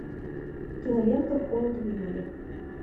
кинолента холод в июле